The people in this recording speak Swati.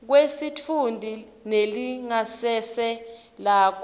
kwesitfunti nelingasese lakho